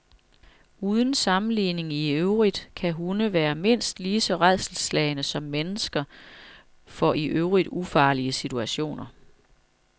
Uden sammenligning i øvrigt kan hunde være mindst lige så rædselsslagne som mennesker for i øvrigt ufarlige situationer.